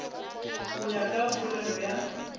go ya ka polelo ya